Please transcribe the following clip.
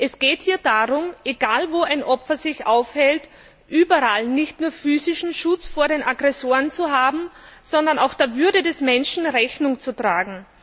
Es geht hier darum, egal, wo ein Opfer sich aufhält, überall nicht nur physischen Schutz vor den Aggressoren zu haben, sondern auch der Würde des Menschen Rechnung zu tragen.